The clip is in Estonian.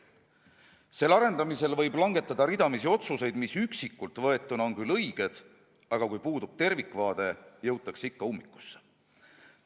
Selle arendamisel võib langetada ridamisi otsuseid, mis üksikult võetuna on küll õiged, aga kui puudub tervikvaade, jõutakse ikka ummikusse.